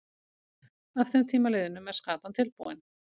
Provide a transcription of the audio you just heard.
Að þeim tíma liðnum er skatan tilbúin.